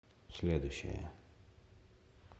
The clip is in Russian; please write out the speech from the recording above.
следующая